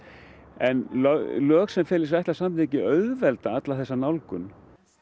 en lög sem fela í sér ætlað samþykki auðvelda alla þessa nálgun